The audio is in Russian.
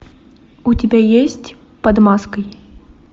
у тебя есть под маской